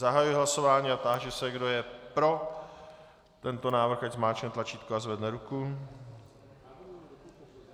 Zahajuji hlasování a táži se, kdo je pro tento návrh, ať zmáčkne tlačítko a zvedne ruku.